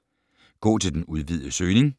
Gå til den udvidede søgning